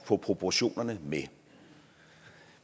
få proportionerne med